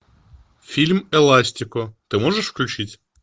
фильм эластико ты можешь включить